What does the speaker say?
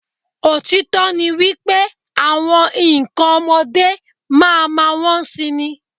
Òtítọ́ ni wípé, àwọn ǹkọ ọmọdé máa ma wón si ni.